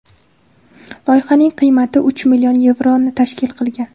Loyihaning qiymati uch million yevroni tashkil qilgan.